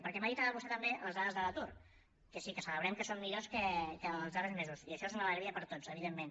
perquè m’ha dit ara vostè també les dades de l’atur que sí que celebrem que són millors que els darrers mesos i això és una alegria per a tots evidentment